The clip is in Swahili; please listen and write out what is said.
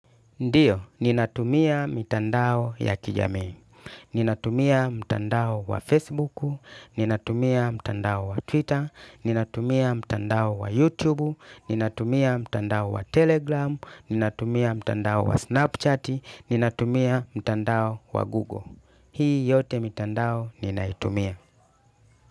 Ndiyo, ninatumia mitandao ya kijamii. Ninatumia mtandao wa Facebook, ninatumia mtandao wa Twitter, ninatumia mtandao wa YouTube, ninatumia mtandao wa Telegram, ninatumia mtandao wa Snapchat, ninatumia mtandao wa Google. Hii yote mitandao ninaitumia.